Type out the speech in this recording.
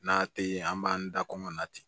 N'a tɛ yen an b'an da kɔngɔn na ten